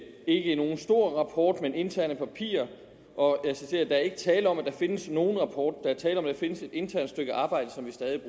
ikke nogen stor rapport men interne papirer og jeg citerer der er ikke tale om at der findes nogen rapport der er tale om at der findes et internt stykke arbejde som vi stadig